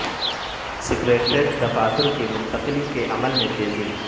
secretariat دفاتر کی منتقلی کے عمل میں تیزی